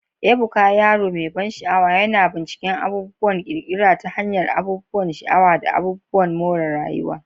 Ebuka, yaro mai ban sha'awa, yana bincika abubuwan ƙirƙira ta hanyar abubuwan sha'awa da abubuwan more rayuwa.